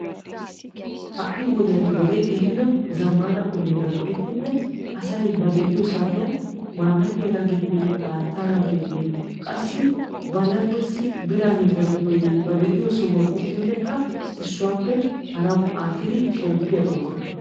Ha'i wodiyan wodee ehiido zamaana go'ettiddi koorinttiyaga, haattaga ubbakka ba laggiyawu miishsha yeddanna koyyikko carkkuwan yediddi shemppees.